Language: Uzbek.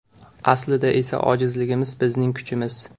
Aslida esa ojizligimiz - bizning kuchimiz.